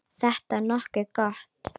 Þetta er nokkuð gott.